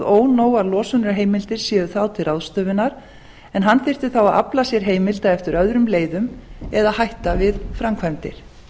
ónógar losunarheimild séu þá til ráðstöfunar en hann þyrfti þá að afla sér heimild eftir öðrum leiðum eða hætta við framkvæmdir